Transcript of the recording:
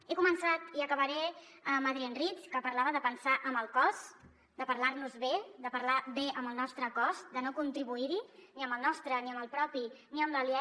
he començat i acabaré amb adrienne rich que parlava de pensar amb el cos de parlar nos bé de parlar bé amb el nostre cos de no contribuir hi ni amb el nostre ni amb el propi ni amb l’aliè